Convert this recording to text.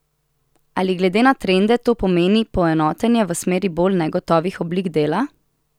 Ali glede na trende to pomeni poenotenje v smeri bolj negotovih oblik dela?